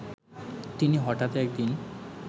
তিনি হঠাৎ একদিন